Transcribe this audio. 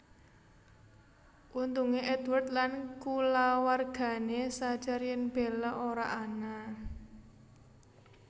Untungé Edward lan kulawargané sadhar yen Bella ora ana